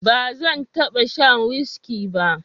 ba zan taba sha whiski ba